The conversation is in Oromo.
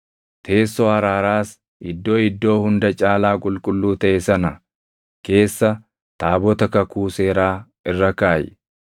Teessoo araaraas Iddoo Iddoo Hunda Caalaa Qulqulluu taʼe sana keessa taabota kakuu seeraa irra kaaʼi.